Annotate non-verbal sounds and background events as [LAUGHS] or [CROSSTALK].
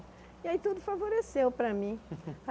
E aí tudo favoreceu para mim. [LAUGHS]